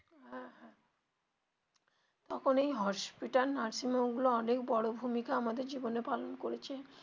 হ্যা হ্যা তখন এই hospital nursing home গুলো অনেক বড়ো ভূমিকা আমাদের জীবনে পালন করেছে.